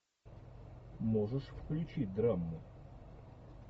можешь включить драму